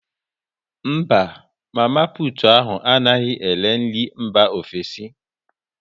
Mba, mama putu ahu anaghị ere nri mba ofesi